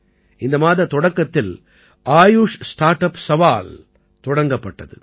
இந்த மாதத் தொடக்கத்தில் ஆயுஷ் ஸ்டார்ட் அப் சவால் தொடங்கப்பட்டது